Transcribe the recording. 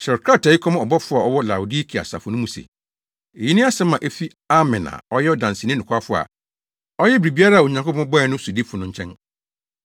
“Kyerɛw krataa yi kɔma ɔbɔfo a ɔwɔ Laodikea asafo mu no se: Eyi ne asɛm a efi Amen a ɔyɛ ɔdanseni nokwafo a ɔyɛ biribiara a Onyankopɔn bɔe no sodifo no nkyɛn.